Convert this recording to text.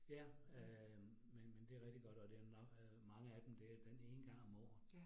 Ja. Øh men men det rigtig godt og det mange af dem det den ene gang om året